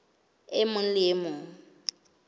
e mong le e mong